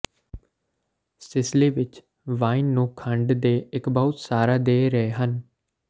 Sicily ਵਿਚ wine ਨੂੰ ਖੰਡ ਦੇ ਇੱਕ ਬਹੁਤ ਸਾਰਾ ਦੇ ਰਹੇ ਹਨ